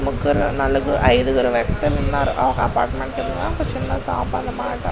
ముగ్గురు నలుగురు అయిదుగురు వ్యక్తులు ఉన్నారు అ అపార్ట్మెంట్ కింద ఒక సిన్న షాప్ అనమాట.